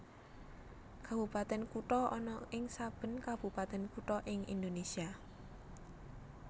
Kabupatèn Kutha ana ing saben kabupatèn kutha ing Indonésia